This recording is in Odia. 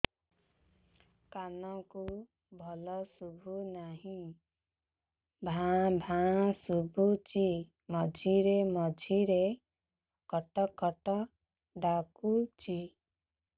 କାନକୁ ଭଲ ଶୁଭୁ ନାହିଁ ଭାଆ ଭାଆ ଶୁଭୁଚି ମଝିରେ ମଝିରେ କଟ କଟ ଡାକୁଚି